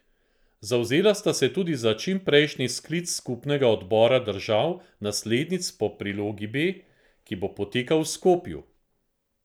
Zavzela sta se tudi za čimprejšnji sklic skupnega odbora držav naslednic po prilogi B, ki bo potekal v Skopju.